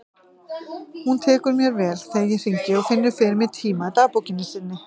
Hún tekur mér vel þegar ég hringi og finnur fyrir mig tíma í dagbókinni sinni.